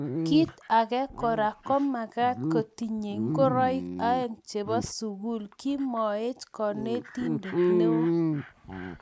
Kit age Kora komagat kotinyei ngoroik oeng chebo sukul kimeoch konetindet neo